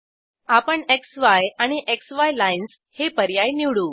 आपण क्सी आणि क्सी लाईन्स हे पर्याय निवडू